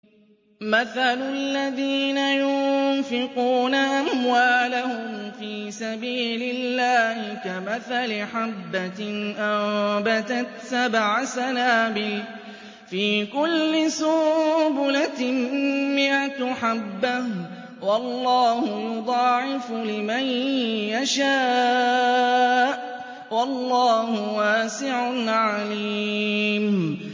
مَّثَلُ الَّذِينَ يُنفِقُونَ أَمْوَالَهُمْ فِي سَبِيلِ اللَّهِ كَمَثَلِ حَبَّةٍ أَنبَتَتْ سَبْعَ سَنَابِلَ فِي كُلِّ سُنبُلَةٍ مِّائَةُ حَبَّةٍ ۗ وَاللَّهُ يُضَاعِفُ لِمَن يَشَاءُ ۗ وَاللَّهُ وَاسِعٌ عَلِيمٌ